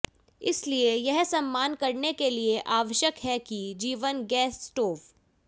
इसलिए यह सम्मान करने के लिए आवश्यक है के जीवन गैस स्टोव